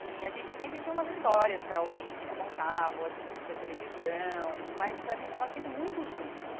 E a gente sempre tinha umas histórias para ouvir que ele contava, ou a gente assistia televisão, mas a gente tava sempre muito junto.